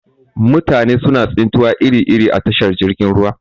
Mutane suna tsintuwa iri iri a tashar jirgin ruwa.